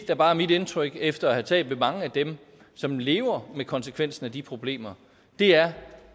der bare er mit indtryk efter at have talt med mange af dem som lever med konsekvensen af de problemer er